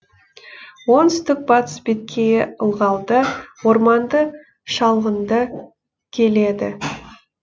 оңтүстік батыс беткейі ылғалды орманды шалғынды келеді